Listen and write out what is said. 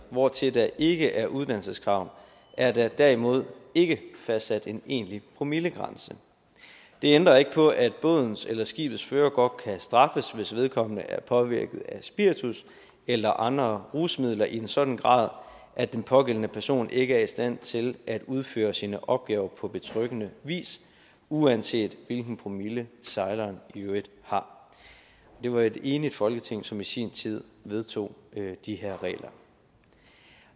hvortil der ikke er uddannelseskrav er der derimod ikke fastsat en egentlig promillegrænse det ændrer ikke på at bådens eller skibets fører godt kan straffes hvis vedkommende er påvirket af spiritus eller andre rusmidler i en sådan grad at den pågældende person ikke er i stand til at udføre sine opgaver på betryggende vis uanset hvilken promille sejleren i øvrigt har det var et enigt folketing som i sin tid vedtog de her regler